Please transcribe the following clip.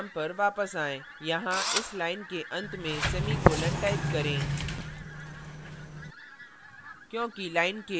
अब अपने program पर वापस आएँ यहाँ इस line के अंत में semicolon type करें